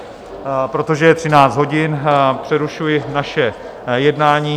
Protože je 13 hodin, přerušuji naše jednání.